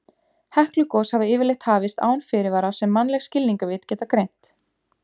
Heklugos hafa yfirleitt hafist án fyrirvara sem mannleg skilningarvit geta greint.